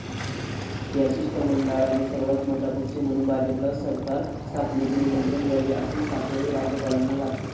त्या शिष्टमंडळाने सर्वांत मोठा पक्ष म्हणून भाजपला सरकार स्थापनेचे निमंत्रण द्यावे, असे साकडे राज्यपालांना घातले.